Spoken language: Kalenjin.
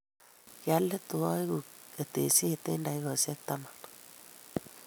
Kialetu aitu ketesyet eng takikaisiek taman